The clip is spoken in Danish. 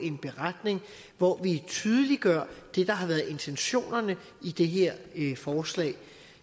en beretning hvori vi tydeliggør det der har været intentionerne i det her forslag